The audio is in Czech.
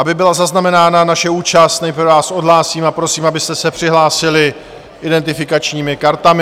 Aby byla zaznamenána naše účast, nejprve vás odhlásím a prosím, abyste se přihlásili identifikačními kartami.